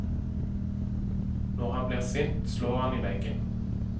Når han blir sint, slår han i veggen.